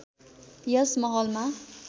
यस महलमा